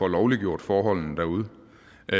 lovliggjort forholdene derude